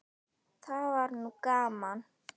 Það var nú gaman.